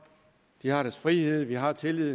de har deres frihed vi har tillid